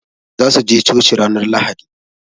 Za su je coci ranar lahadi.